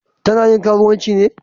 Ta na yin karuwanci ne?